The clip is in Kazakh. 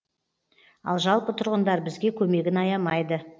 ал жалпы тұрғындар бізге көмегін аямайды